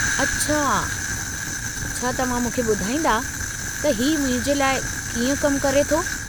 अछा, छा तव्हां मूंखे ॿुधाईंदा त ही मुंहिंजे लाइ कीअं कमु करे थो?